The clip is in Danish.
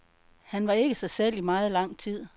Han var ikke sig selv i meget lang tid.